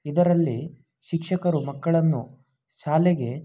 ಇದರಲ್ಲಿ ಶಿಕ್ಷಕರು ಮಕ್ಕಳನ್ನು ಶಾಲೆಗೆ--